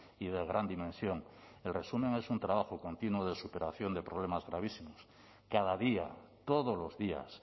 y de gran dimensión el resumen es un trabajo continuo de superación de problemas gravísimos cada día todos los días